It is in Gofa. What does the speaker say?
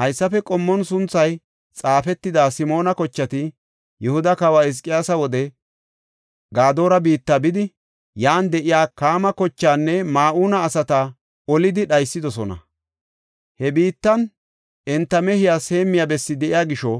Haysafe qommon sunthay xaafetida Simoona kochati Yihuda kawa Hizqiyaasa wode Gadoora biitta bidi yan de7iya Kaama kochaanne Ma7uuna asata olidi dhaysidosona. He biittan enta mehiyas heemmiya bessi de7iya gisho,